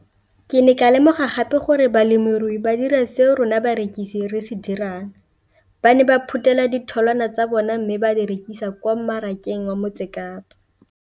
Ke ne ka lemoga gape gore balemirui ba dira seo rona barekisi re se dirang - ba ne ba phuthela ditholwana tsa bona mme ba di rekisa kwa marakeng wa Motsekapa.